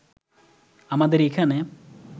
আমাদের এখানে